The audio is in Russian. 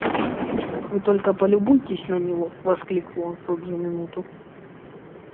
вы только полюбуйтесь на него воскликнул он в тут же минуту